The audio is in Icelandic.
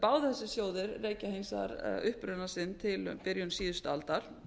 báðir þessir sjóðir rekja hins vegar uppruna sinn til byrjun síðustu aldar